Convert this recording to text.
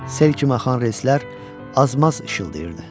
Sel kimi axan relslər azmaz işıldayırdı.